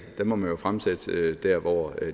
må man fremsætte dér hvor